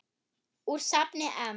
Úr safni EM.